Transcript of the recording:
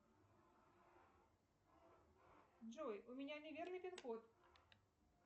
джой у меня неверный пин код